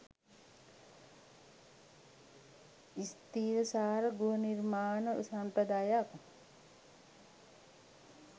ස්ථිරසාර ගෘහ නිර්මාණ සම්ප්‍රදායක්